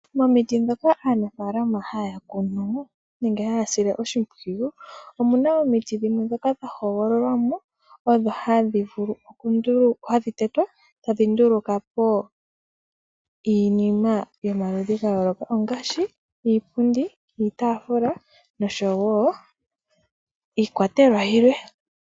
Omiti ndhoka aanafaalama haya kunu nenge haya sile oshimpwiyu, omu na omiti dhimwe ndhoka dha hogololwa mo odho hadhi vulu okutetwa tadhi nduluka po iinima yomaludhi ga yooloka, ngaashi iipundi niitaafula nosho woo iikwatelwa yilwe.